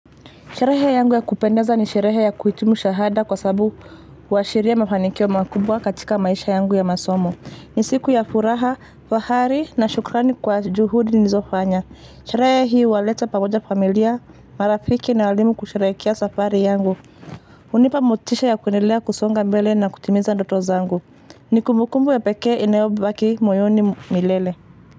Sherehe yangu ya kupendeza ni sherehe ya kuhitumu shahada kwa sababu huwashiria mafanikio makubwa katika maisha yangu ya masomo. Ni siku ya furaha, fahari na shukrani kwa juhudi nizofanya. Sherehe hii huwaleta pamoja familia, marafiki na walimu kusherehekea safari yangu. Hunipa motisha ya kuendelea kusonga mbele na kutimiza ndoto zangu. Nikumukumbu ya pekee inayobaki moyoni milele.